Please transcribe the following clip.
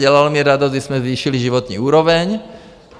Dělalo mi radost, když jsme zvýšili životní úroveň.